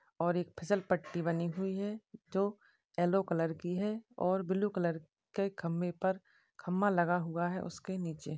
और एक फिसलपट्टी बनी हुई है जो ऐलो कलर की है और ब्लू कलर के खंबे पर खंबा लगा हुआ है उसके नीचे।